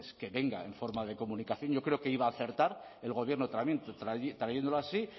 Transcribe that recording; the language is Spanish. que venga en forma de comunicación yo creo que iba a acertar el gobierno trayéndolo así